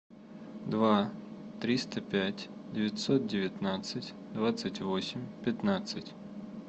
два триста пять девятьсот девятнадцать двадцать восемь пятнадцать